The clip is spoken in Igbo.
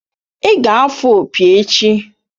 Ị ga-afụ opi echi!